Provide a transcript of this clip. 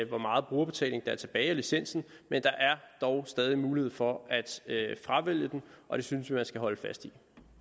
hvor meget brugerbetaling der er tilbage af licensen men der er dog stadig en mulighed for at fravælge den og det synes jeg at man skal holde fast